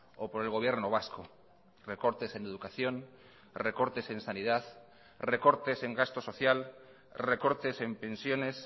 o por el gobierno vasco recortes en educación recortes en sanidad recortes en gasto social recortes en pensiones